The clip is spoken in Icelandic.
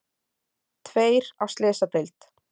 Tveir á slysadeild